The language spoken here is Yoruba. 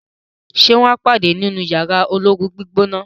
ṣe wón pade nínú Yàrá olóoru-gbígbóná?